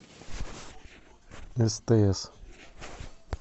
стс